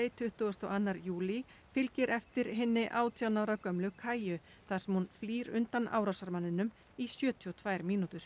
tuttugasta og annan júlí fylgir eftir hinni átján ára gömlu þar sem hún flýr undan árásarmanninum í sjötíu og tvær mínútur